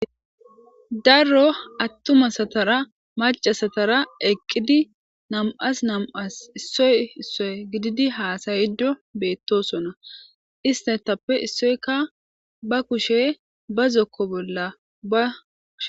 daro attumasatara macasatara eqqidi namaas issoy issoy gididi haasayido beettosona istatappe issoykka ba kushe ba zokko bolla baushe